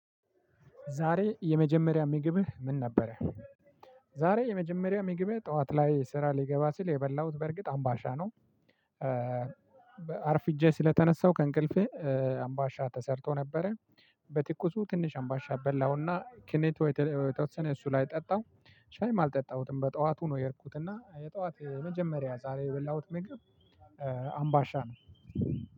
ዛሬ የመጀመሪያ ምግብህ ምን ነበረ? ዛሬ የመጀመሪያ ምግቤ ጠዋት ላይ ስራ ልገባ ስል የበላሁት በእርግጥ አምባሻ ነው። አርፍጄ ስለተነሳሁ ከእንቅልፌ አምባሻ ተሰርቶ ነበረ። በትኩሱ ትንሽ አምባሻ በላሁና ክኔቶ የተወሰነ እሱ ላይ ጠጣሁ ሻይም አልጠጣሁትም። በጠዋቱ ነው የሄድኩት እና የጠዋት የመጀመሪያ ዛሬ የበላሁት ምግብ አምባሻ ነው።